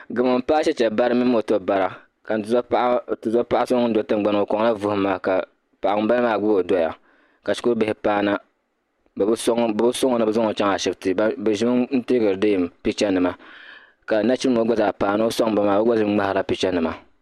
gamo paai cheche bara mini moto bara ka n tuzo paɣa so ŋun do tiŋgbani ni ŋɔ o kɔŋla vuhim maa ka paɣa ŋumbala maa gbubi o dɔya ka shikuribihi paana bɛ bi sɔŋ o ni bɛ zaŋ o chaŋ ashibiti bɛ ʒimi n-teekiri deem pichanima ka nachimbila ŋɔ gba zaa paana o sɔŋmi ba maa o gba ʒimi ŋmahirila pichanima